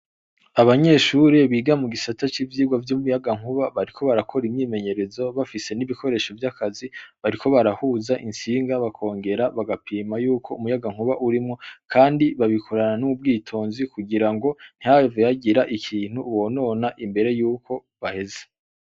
Abanyeshure biga mu gisata civyigwa vyumuyagankuba bariko barakora imyimenyerezo bafise nibikoresho vyakazi bariko barahuza intsinga bakongera bagapima yuko umuyagankuba urimwo kandi babikora nubwitonzi kugirango ntihave hagira ikintu bonona imbere yuko baheza.